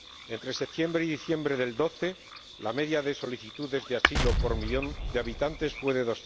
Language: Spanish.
Entre septiembre y diciembre de 2012, la media de solicitudes de asilo por millón de habitantes fue de